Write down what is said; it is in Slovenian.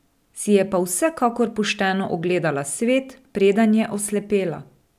Si je pa vsekakor pošteno ogledala svet, preden je oslepela.